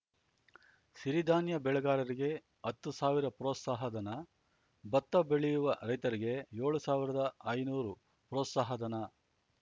ಸಿರಿಧಾನ್ಯ ಬೆಳೆಗಾರರಿಗೆ ಹತ್ತು ಸಾವಿರ ಪ್ರೋತ್ಸಾಹ ಧನ ಭತ್ತ ಬೆಳೆಯುವ ರೈತರಿಗೆ ಯೋಳು ಸಾವಿರದ ಐನೂರು ಪ್ರೋತ್ಸಾಹ ಧನ